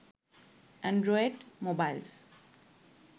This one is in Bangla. Android mobiles